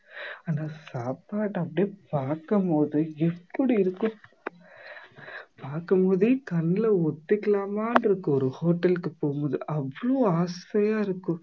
ஆனா சாப்பாட அப்படியே பார்க்கும் போது எப்படி இருக்கும் பார்க்கும் போதே கண்ணுல ஒத்திக்கலாமான்னு இருக்கும் ஒரு hotel க்கு போகும்போது அவ்வளோ ஆசையா இருக்கும்